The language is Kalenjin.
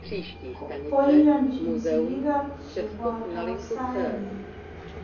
koyanchine sigik ab chebotok saenyi